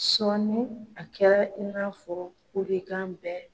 Sɔɔni a kɛra i n'a fɔ kule kan bɛ